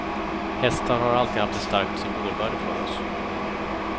Hästar har alltid haft ett starkt symbolvärde för oss.